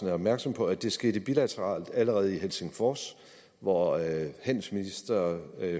er opmærksom på at det skete bilateralt allerede i helsingfors hvor handelsminister